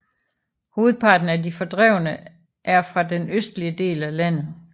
Hovedparten af de fordrevne er fra den østlige del af landet